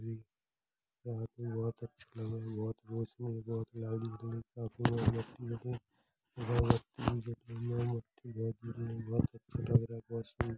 ही बहोत अच लगा रहा हे | बहोत रोशनी है बहोत लाली जल रई काफी मोमबत्ती लगी बहोत अच्छा लग रहा है | वाशरूम |